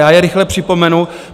Já je rychle připomenu.